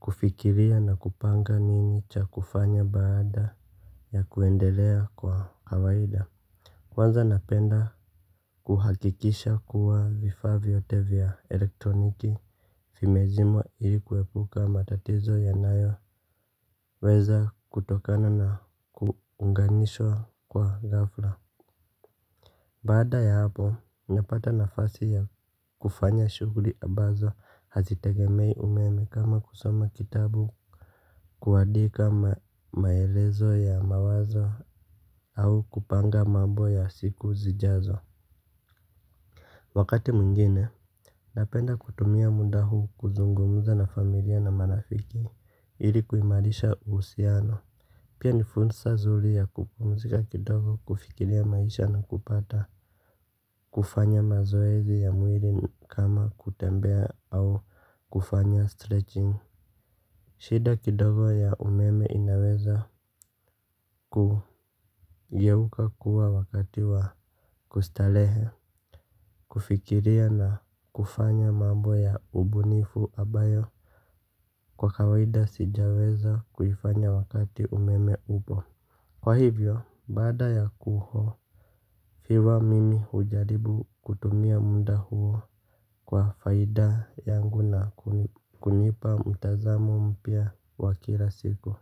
kufikiria na kupanga nini cha kufanya baada ya kuendelea kwa kawaida. Kwanza napenda kuhakikisha kuwa vifaa vyote vya elektroniki vimezimwa ili kuepuka matatizo yanayo weza kutokana na kuunganishwa kwa ghafla. Baada ya hapo, napata nafasi ya kufanya shughuli ambazo hazitegemei umeme kama kusoma kitabu kuadika maelezo ya mawazo au kupanga mambo ya siku zijazo. Wakati mwingine, napenda kutumia muda huu kuzungumuza na familia na marafiki ili kuimarisha usiano. Pia nifunsa zuri ya kupumzika kidogo kufikilia maisha na kupata kufanya mazoezi ya mwili kama kutembea au kufanya stretching. Shida kidogo ya umeme inaweza kugeuka kuwa wakati wa kustalehe. Kufikiria na kufanya mambo ya ubunifu abayo kwa kawaida sijaweza kuifanya wakati umeme upo. Kwa hivyo, baada ya kuho fiwa mimi ujaribu kutumia muda huo. Kwa faida yangu na kunipa mtazamo mpya wa kila siku.